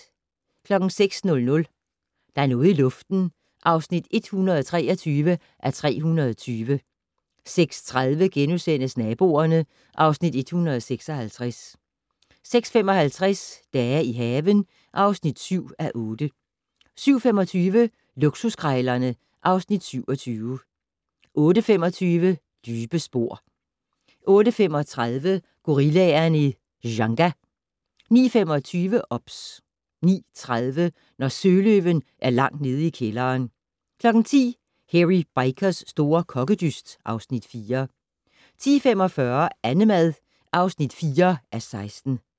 06:00: Der er noget i luften (123:320) 06:30: Naboerne (Afs. 156)* 06:55: Dage i haven (7:8) 07:25: Luksuskrejlerne (Afs. 27) 08:25: Dybe spor 08:35: Gorillaerne i Dzanga 09:25: OBS 09:30: Når søløven er langt nede i kælderen 10:00: Hairy Bikers' store kokkedyst (Afs. 4) 10:45: Annemad (4:16)